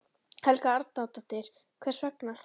Helga Arnardóttir: Hvers vegna?